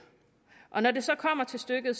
når det så kommer til stykket